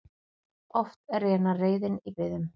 Oftast rénar reiðin í biðum.